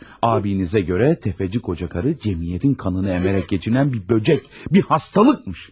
Abinizə göre tefeci kocakarı cəmiyyətin qanını əmərək geçinən bir böcek, bir xəstəlikmiş.